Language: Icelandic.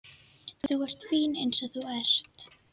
Þú ert fín eins og þú ert.